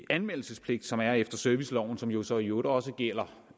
anmeldelsespligt som er efter serviceloven som jo så i øvrigt også gælder